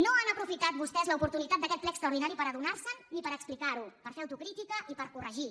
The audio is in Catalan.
no han aprofitat vostès l’oportunitat d’aquest ple extraordinari per adonar se’n ni per explicar ho per fer autocrítica i per corregir